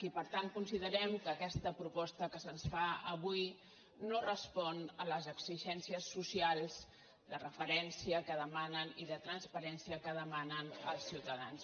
i per tant considerem que aquesta propos·ta que se’ns fa avui no respon a les exigències socials de referència que demanen i de transparència que de·manen els ciutadans